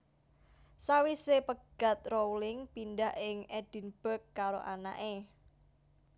Sawisé pegat Rowling pindah ing Edinburg karo anaké